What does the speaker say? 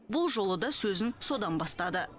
бұл жолы да сөзін содан бастады